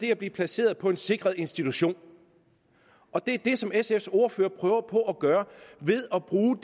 kan blive placeret på en sikret institution og det er det som sfs ordfører prøver på at gøre ved at bruge